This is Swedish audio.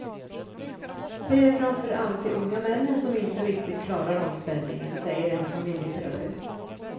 Det är framför allt de unga männen som inte riktigt klarar omställningen, säger en familjeterapeut.